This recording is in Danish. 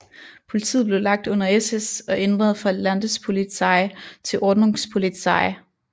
Politiet blev lagt under SS og ændret fra Landespolizei til Ordnungspolizei